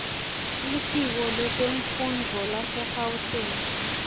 litiko letemfundvo lasegauteng